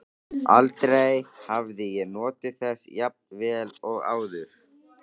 Aldrei hafði ég notið þess jafn vel áður.